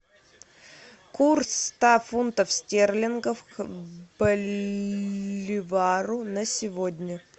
курс ста фунтов стерлингов к боливару на сегодня